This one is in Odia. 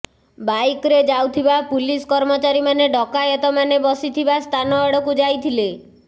ବାଇକ୍ରେ ଯାଉଥିବା ପୁଲିସ କର୍ମଚାରୀମାନେ ଡକାୟତମାନେ ବସିଥିବା ସ୍ଥାନଆଡ଼କୁ ଯାଇଥିଲେ